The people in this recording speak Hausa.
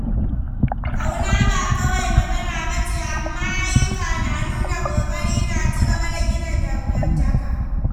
Ƙauna ba kawai magana ba ce, amma ayyuka da nuna ƙoƙari na ci gaba da gina dangantaka.